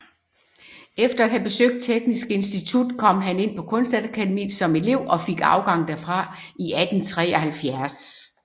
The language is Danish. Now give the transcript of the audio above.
Efter at have besøgt Teknisk Institut kom han ind på Kunstakademiet som elev og fik afgang derfra i 1873